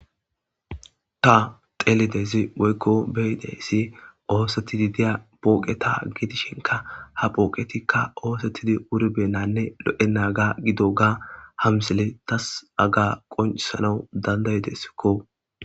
ta telidezi woykko beyideyssi oosettidi diya pooqe ta gidishinka ha pooqetikka oosettidi wurbenanne lo7e naga gido ga hamsele tas aga qoncsalou dandaydessikko